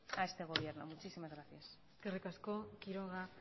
a este gobierno muchísimas gracias eskerrik asko quiroga